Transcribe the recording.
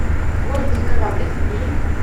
гордый кораблик набери